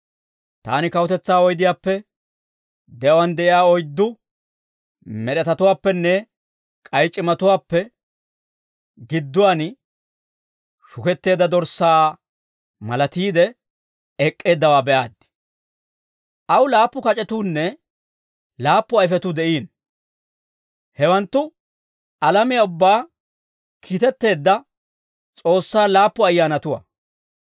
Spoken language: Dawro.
Taani kawutetsaa oydiyaappe, de'uwaan de'iyaa oyddu med'etatuwaappenne k'ay c'imatuwaappe gidduwaan, shuketteedda Dorssaa malatiide ek'k'eeddawaa be'aaddi; aw laappu kac'etuunne laappu ayfetuu de'iino. Hewanttu alamiyaa ubbaa kiitetteedda S'oossaa laappu ayyaanatuwaa.